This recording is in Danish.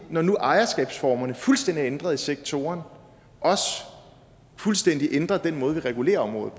når nu ejerskabsformerne fuldstændig er ændret i sektoren også fuldstændig ændre den måde vi regulerer området